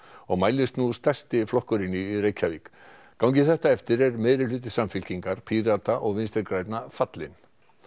og mælist nú stærsti flokkurinn í Reykjavík gangi þetta eftir er meirihluti Samfylkingar Pírata og Vinstri grænna fallinn